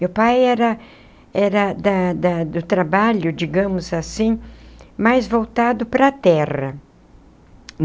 Meu pai era era da da do trabalho, digamos assim, mas voltado para a terra.